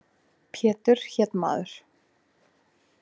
Pétur hét maður.